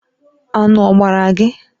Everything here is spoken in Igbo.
Aṅụ ọ gbara gị?